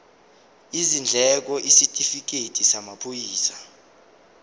izindleko isitifikedi samaphoyisa